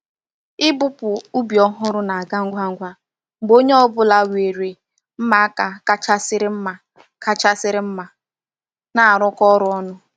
Ịpụpụ ubi ọhụrụ na-aga ngwa ngwa mgbe onye ọ bụla nwere mma aka kachasịrị mma kachasịrị mma na-arụkọ ọrụ ọnụ.